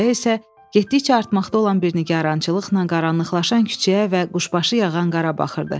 Sürəya isə getdikcə artmaqda olan bir nigarançılıqla qaranlıqlaşan küçəyə və quşbaşı yağan qara baxırdı.